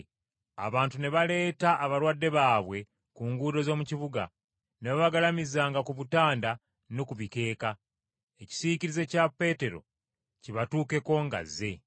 Abantu ne baleeta abalwadde baabwe ku nguudo z’omu kibuga, ne babagalamizanga ku butanda ne ku bikeeka, ekisiikirize kya Peetero kibatuukeko ng’azze.